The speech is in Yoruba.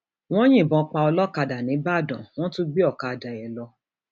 wọn yìnbọn pa olókàdá nígbàdàn wọn um tún gbé ọkadà ẹ um lọ